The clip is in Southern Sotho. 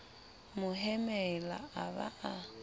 mo hemela a ba a